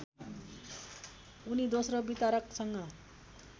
उनी दोस्रो वितरकसँग